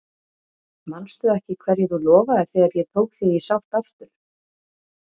Manstu ekki hverju þú lofaðir þegar ég tók þig í sátt aftur?